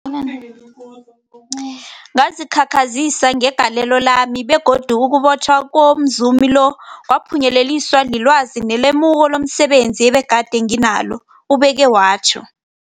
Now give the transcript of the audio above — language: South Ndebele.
Ngazikhakhazisa ngegalelo lami, begodu ukubotjhwa komzumi lo kwaphunyeleliswa lilwazi nelemuko lomse benzi ebegade nginalo, ubeke watjho.